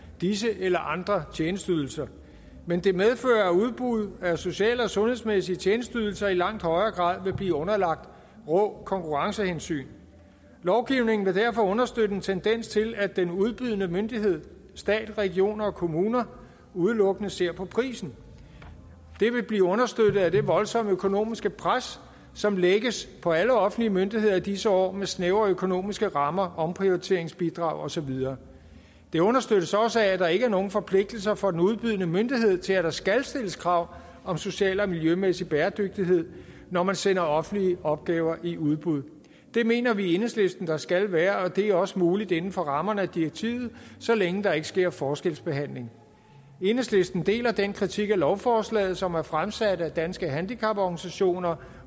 disse eller andre tjenesteydelser men det medfører at udbud af sociale og sundhedsmæssige tjenesteydelser i langt højere grad vil blive underlagt rå konkurrencehensyn lovgivningen vil derfor understøtte en tendens til at den udbydende myndighed stat regioner og kommuner udelukkende ser på prisen det vil blive understøttet af det voldsomme økonomiske pres som lægges på alle offentlige myndigheder i disse år snævre økonomiske rammer omprioriteringsbidrag og så videre det understøttes også af at der ikke er nogen forpligtelser for den udbydende myndighed til at der skal stilles krav om social og miljømæssig bæredygtighed når man sender offentlige opgaver i udbud det mener vi i enhedslisten der skal være at det er også muligt inden for rammerne af direktivet så længe der ikke sker forskelsbehandling enhedslisten deler den kritik af lovforslaget som er fremsat af danske handicaporganisationer